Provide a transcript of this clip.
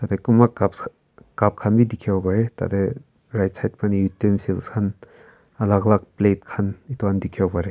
teh kumba cups cup khan bi dekhi bo pare tate right side phane untensil khan alag alag plate khan etu han dekhi bo pare.